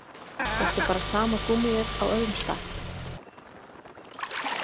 Þetta er bara sama gúmmíið á öðrum stað.